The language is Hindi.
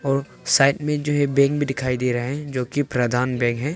और साइड मे जो है बैंक भी दिखाई दे रहा है जो कि प्रधान बैंक है।